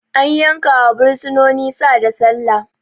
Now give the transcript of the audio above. An yankawa bursinoni Sa da Sallah